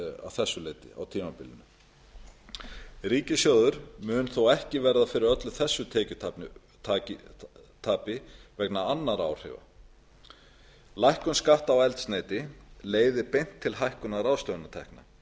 milljarðar króna á tímabilinu ríkissjóður mun þó ekki verða fyrir öllu þessu tekjutapi vegna annarra áhrifa lækkun skatta á eldsneyti leiðir beint til hækkunar ráðstöfunartekna